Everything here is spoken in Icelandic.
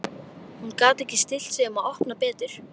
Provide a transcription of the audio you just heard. En hún gat ekki stillt sig um að opna betur.